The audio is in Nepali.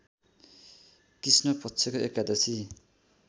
कृष्णपक्षको एकादशी